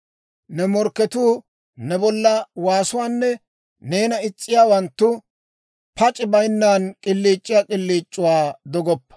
Ne morkketuu ne bolla waassiyaa waasuwaanne neena is's'iyaawanttu, pac'i bayinnan k'iliic'iyaa k'iliic'uwaa dogoppa.